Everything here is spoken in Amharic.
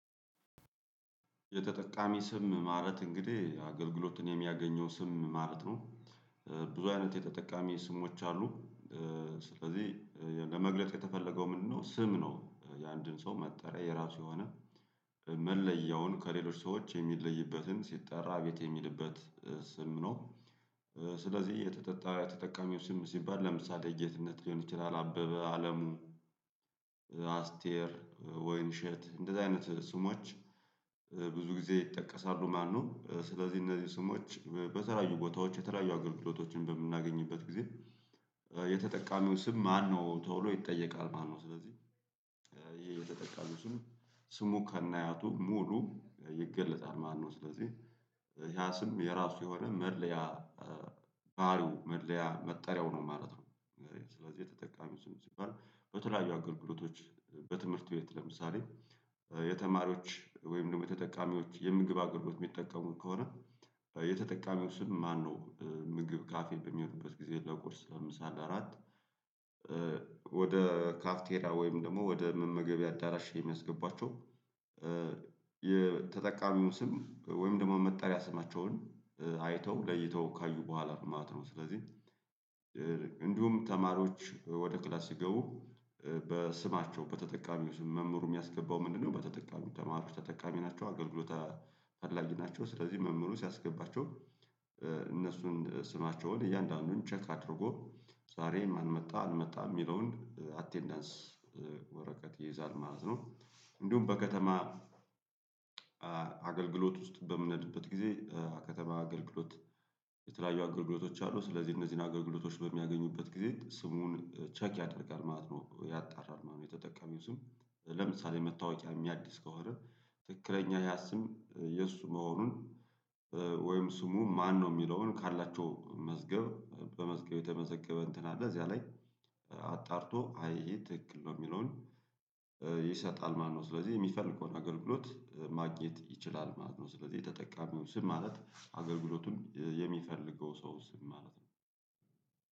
የተጠቃሚ ስም ማለት እንግዲህ አገልግሎትን የሚያገኘው ስም ማለት ነው። ብዙ አይነት የተጠቃሚ ስሞች አሉ። ስለዚህ ለመግለጥ የተፈለገው ምንድነው? ስም ነው የአንድን ሰው መጠሪያ የራሱ የሆነ መለያውን ከሌሎች ሰዎች የሚለይበትን ሲጠራ ቤት የሚልበት ስም ነው። ስለዚህ የተጠጣ የተጠቃሚው ስም ሲባል ለምሳሌ ጌትነት ሊሆን ይችላል አበበ አለሙ። አስቴር ወይንሸት እንደዚህ አይነት ስሞች ብዙ ጊዜ ይጠቀሳሉ። ማነው ስለዚህ እነዚህ ስሞች በተለያዩ ቦታዎች የተለያዩ አገልግሎቶችን በምናገኝበት ጊዜ። የተጠቃሚው ስም ማነው ቶሎ ይጠየቃል ማነው ስለዚህ። ይሄ የተጠቃቀው ስሙ ስሙ ከናያቱ ሙሉ ይገለጻል ማነው? ስለዚህ ያ ስም የራሱ የሆነ መድለያ ባህሪው መለያ መጠሪያው ነው ማለት ነው። ስለዚህ የተጠቃሚው ስም ሲባል በተለያዩ አገልግሎቶች በትምህርት ቤት ለምሳሌ። የተማሪዎች ወይም ደግሞ ተጠቃሚዎች የምግብ አቅርቦት የሚጠቀሙት ከሆነ። የተጠቃሚው ስም ማነው ምግብ ካፌ በሚመጡበት ጊዜ ለቁርስ ለምሳሌ አራት። ወደ ካፍቴራ ወይም ደግሞ ወደ መመገቢያ አዳራሽ የሚያስገቧቸው። የተጠቃሚውን ስም ወይም ደግሞ መጠሪያ ስማቸውን አይተው ለይተው ካዩ በኋላ ነው ማለት ነው። ስለዚህ እንዲሁም ተማሪዎች ወደ ክላስ ሲገቡ በስማቸው በተጠቃሚው ስም መምህሩ የሚያስገባው ምንድነው? በተጠቃሚው ተማሩ ተጠቃሚ ናቸው አገልግሎት ፈላጊ ናቸው። ስለዚህ መምህሩ ሲያስገባቸው እነሱን ስማቸውን እያንዳንዱን ቼክ አድርጎ ዛሬም አልመጣ አልመጣም የሚለውን አቴንዳንስ ወረቀት ይይዛል ማለት ነው። እንዲሁም በከተማ አገልግሎት ውስጥ በምንልበት ጊዜ ከተማ አገልግሎት የተለያዩ አገልግሎቶች አሉ። ስለዚህ እነዚህን አገልግሎቶች በሚያገኙበት ጊዜ ስሙን ቼክ ያደርጋል ማለት ነው ያጣራል ማለት ነው። የተጠቀመው ስም ለምሳሌ መታወቂያ የሚያድስ ከሆነ። ትክክለኛ ያ ስም የእሱ መሆኑን ወይም ስሙ ማነው የሚለውን ካላቸው መዝገብ በመዝገብ የተመዘገበ እንትን አለ። እዚያ ላይ አጣርቶ አይ ይሄ ትክክል ነው የሚለውን። ይሰጣል ማለት ነው ስለዚህ የሚፈልገውን አገልግሎት ማግኘት ይችላል ማለት ነው። ስለዚህ የተጠቀመው ስም ማለት አገልግሎቱን የሚፈልገው ሰው ስም ማለት ነው።